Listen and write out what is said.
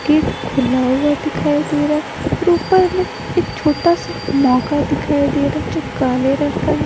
Gate खुला हुआ दिखाई दे रहा है और ऊपर में एक छोटा सा मौका दिखाई दे रहा है जो काले रंग का है।